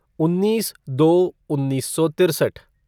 उन्नीस दो उन्नीस सौ तिरसठ